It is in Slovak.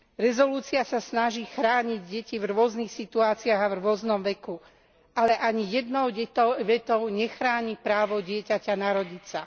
Uznesenie sa snaží chrániť detí v rôznych situáciách a v rôznom veku, ale ani jednou vetou nechráni právo dieťaťa narodiť sa.